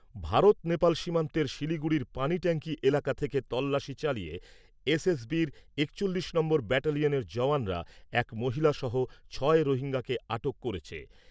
ভারত নেপাল সীমান্তের শিলিগুড়ির পানিট্যাঙ্কি এলাকা থেকে তল্লাশি চালিয়ে এসএসবির একচল্লিশ নম্বর ব্যাটেলিয়ানের জওয়ানরা এক মহিলা সহ ছয় রোহিঙ্গাকে আটক করেছে।